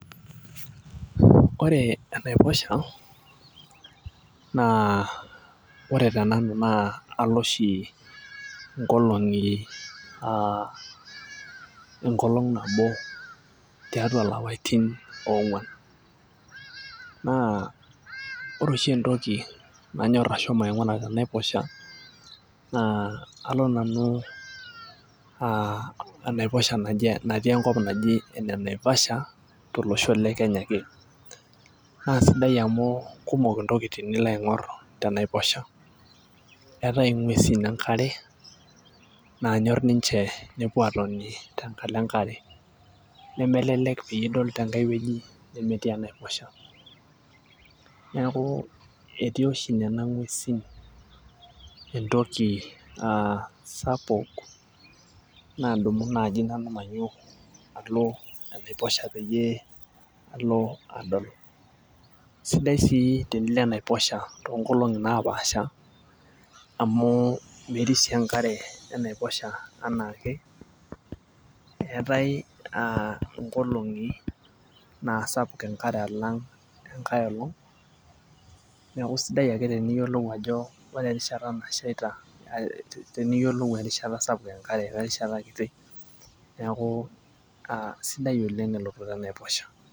Ore enaiposha naa ore tenanu naa alo oshi inkolong'i uh enkolong' nabo tiatua ilapaitin ong'uan, naa ore oshi entoki nanyorr ashomo aing'ura tenaiposha naa alo nanu uh enaiposha natii enkop naji ene Naivasha tolosho le Kenya ake naa sidai amu kumok intokitin nilo aing'orr tenaiposha eetae ing'uesin enkare nanyorr ninche nepuo atoni tenkalo enkare nemelelek peyie idol tenkae wueji nemetii enaiposhi neeku etii oshi nena ng'uesin entoki uh sapuk nadumu naaji nanu mainyio alo enaiposha peyie alo adol sidai sii tenilo enaiposha tonkolong'i napaasha amu merisio enkare enaiposha enaake eetae uh nkolong'i naa sapuk enkare alang' enkae olong' niaku isidai ake teniyiolou ajo ore erishata nashaita teniyiolou erishat sapuk enkare werishata kiti neaku sidai oleng' elototo enaiposha.